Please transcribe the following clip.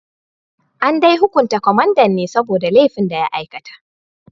An dai hukunta kwamandan ne saboda laifin da ya aikata